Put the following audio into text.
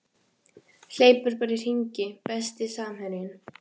Hleypur bara í hringi Besti samherjinn?